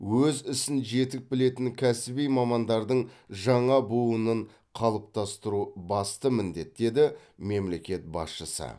өз ісін жетік білетін кәсіби мамандардың жаңа буынын қалыптастыру басты міндет деді мемлекет басшысы